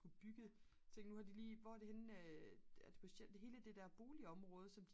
bygge ting nu har de lige hvor er det henne hele det der boligområde som